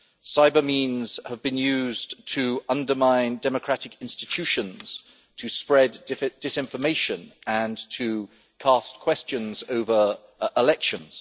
Cyber means have been used to undermine democratic institutions, to spread disinformation and to cast questions over elections.